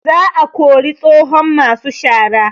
Za a kori tsohon masu shara